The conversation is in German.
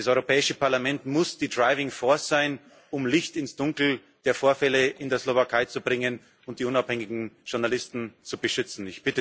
Das Europäische Parlament muss die driving force sein, um Licht ins Dunkel der Vorfälle in der Slowakei zu bringen und die unabhängigen Journalisten zu beschützen.